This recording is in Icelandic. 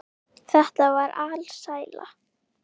Þetta var alsæla.